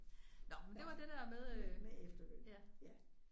Nåh men det var det der med øh ja